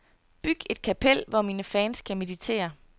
Byg et kapel, hvor mine fans kan meditere.